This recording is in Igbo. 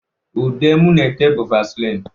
Ude m na-ete bu vasịlịn.